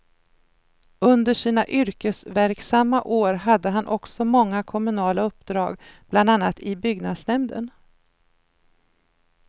Under sina yrkesverksamma år hade han också många kommunala uppdrag, bland annat i byggnadsnämnden.